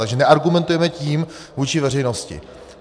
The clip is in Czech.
Takže neargumentujeme tím vůči veřejnosti.